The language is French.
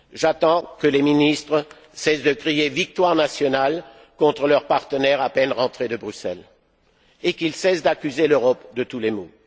J'attends que les ministres cessent de crier victoire nationale contre leurs partenaires à peine rentrés de Bruxelles et qu'ils cessent d'accuser l'Europe de tous les maux.